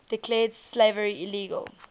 declared slavery illegal